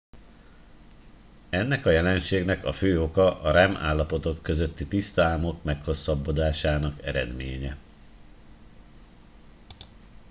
ennek a jelenségnek a fő oka a rem állapotok közötti tiszta álmok meghosszabbodásának eredménye